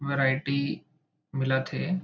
Variety मिलत हे।